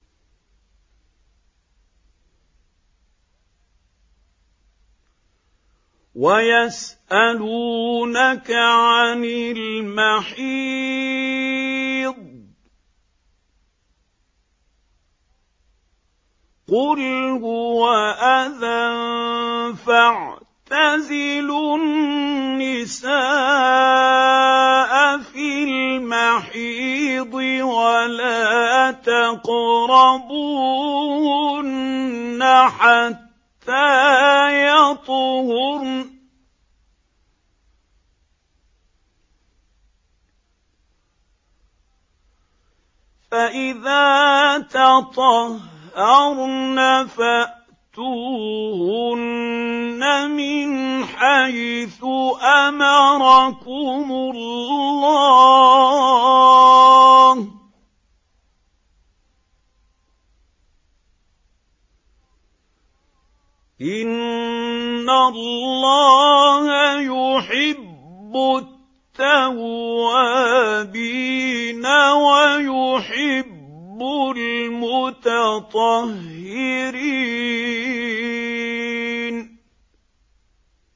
وَيَسْأَلُونَكَ عَنِ الْمَحِيضِ ۖ قُلْ هُوَ أَذًى فَاعْتَزِلُوا النِّسَاءَ فِي الْمَحِيضِ ۖ وَلَا تَقْرَبُوهُنَّ حَتَّىٰ يَطْهُرْنَ ۖ فَإِذَا تَطَهَّرْنَ فَأْتُوهُنَّ مِنْ حَيْثُ أَمَرَكُمُ اللَّهُ ۚ إِنَّ اللَّهَ يُحِبُّ التَّوَّابِينَ وَيُحِبُّ الْمُتَطَهِّرِينَ